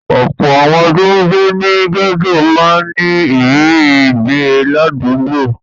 Ọ̀pọ̀ àwọn tó ń gbé ní gẹ́tò máa ń ní ìrírí ìgbé ládùúgbò.